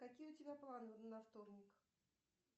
какие у тебя планы на вторник